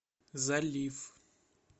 залив